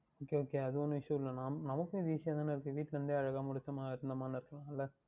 Okay Okay அது ஒன்றும் Issue இல்லை நமக்கும் இது Easy யாக தானே இருக்கின்றது வீட்டில் இருந்தே அழகாக முடித்தமா இருந்தமா என்று இருக்கலாம் அல்வா